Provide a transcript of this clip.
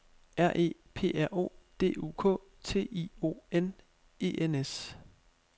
R E P R O D U K T I O N E N S